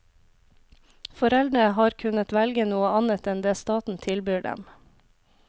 Foreldrene har kunnet velge noe annet enn det staten tilbyr dem.